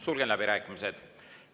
Sulgen läbirääkimised.